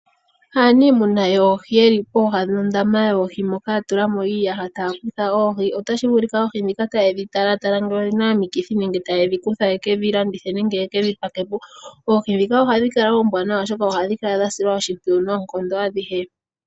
Aaniimuna yoohi, ye li popepi nondaama yoohi, ya tula mo iiyaha taya kutha oohi. Otashi vulika oohi ndhika taye dhi tala ngele odhi na omikithi nenge taye dhi kutha ye ke dhi pakepo nenge ye ke dhi landithe. Oohi ndhika ohadhi kala oombwaanawa, oshoka ohadhi kala dha silwa oshimpwiyu noonkondo.